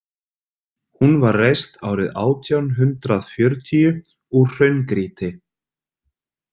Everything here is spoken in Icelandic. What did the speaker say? Hún var reist árið átján hundrað fjörutíu úr hraungrýti.